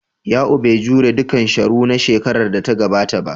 Ya'u bai jure dukan Sharo na shekarar da ta gabata ba.